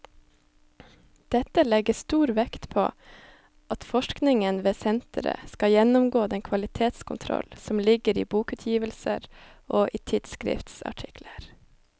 Dette legges stor vekt på at forskningen ved senteret skal gjennomgå den kvalitetskontroll som ligger i bokutgivelser og i tidsskriftsartikler.